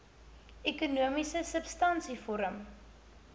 ekonomiese substansie vorm